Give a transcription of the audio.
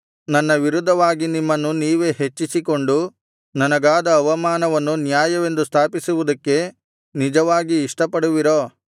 ನನ್ನ ವಿರುದ್ಧವಾಗಿ ನಿಮ್ಮನ್ನು ನೀವೇ ಹೆಚ್ಚಿಸಿಕೊಂಡು ನನಗಾದ ಅವಮಾನವನ್ನು ನ್ಯಾಯವೆಂದು ಸ್ಥಾಪಿಸುವುದಕ್ಕೆ ನಿಜವಾಗಿ ಇಷ್ಟಪಡುವಿರೋ